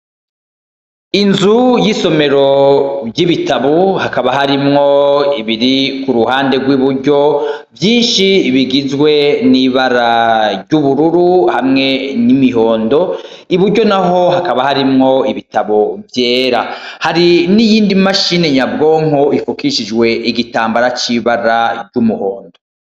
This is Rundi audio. Inzu y'isomero ry'ibitabu hakaba harimwo ibiri ku ruhande rw'iburyo vyinshi bigizwe n'ibara ry'ubururu hamwe n'imihondo iburyo na ho hakaba harimwo ibitabo vyera hari n'iyindi mashini nyabwonko ifukishijwe we igitambara c'ibara ry'umuhondo.